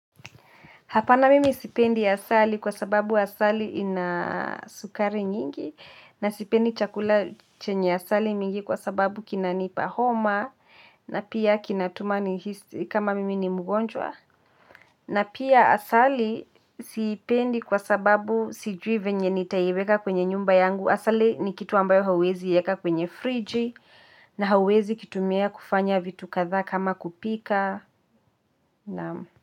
Hapana mimi sipendi asali kwa sababu asali kina sukari mingi na mimi sipendi asali kwa sababu kinanipa homa na pia kinatuma nihasi kama mimi ni mgonjwa. Na pia asali sipendi kwa sababu sijui venye nitaiweka kwenye nyumba yangu. Asali ni kitu ambayo hauwezi yeka kwenye friji na hawezi kitumia kufanya vitu katha kama kupika.